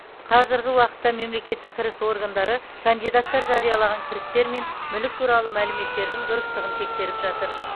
қазіргі уақытта мемлекеттік кіріс органдары кандидаттар жариялаған кірістер мен мүлік туралы мәліметтердің дұрыстығын тексеріп жатыр